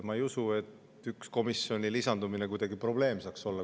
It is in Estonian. Ma ei usu, et ühe komisjoni lisandumine saaks probleem olla.